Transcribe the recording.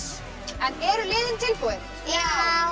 en eru liðin tilbúin já